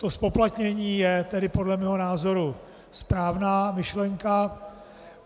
To zpoplatnění je tedy podle mého názoru správná myšlenka.